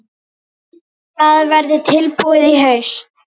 Það verður tilbúið í haust.